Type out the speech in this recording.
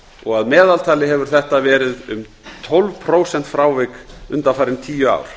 og að meðaltali hefur þetta verið um tólf prósent frávik undanfarin tíu ár